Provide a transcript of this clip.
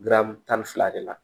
Garamu tan ni fila de la